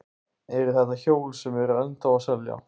Eru þetta hjól sem eru ennþá að selja?